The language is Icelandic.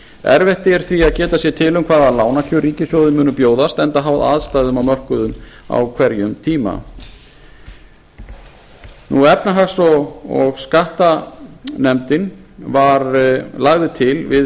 erfitt er því að geta sér til um hvaða lánakjör ríkissjóði munu bjóðast enda háð aðstæðum á mörkuðum á hverjum tíma efnahags og skattanefndin lagði til við